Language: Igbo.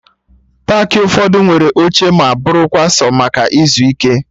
Paakị ụfọdụ nwere oche ma bụrụkwa sọ maka ịzụ ike